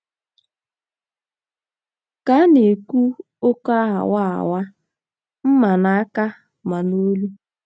Ka a um na - ekwu, ọkọ aghawa aghawa m ma n’aka ma n’olu.